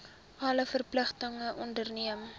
alle verpligtinge onderneem